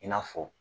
I n'a fɔ